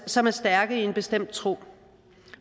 som er stærke i en bestemt tro